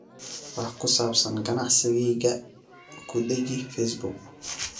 wax ku saabsan ganacsigayga ku dheji Facebook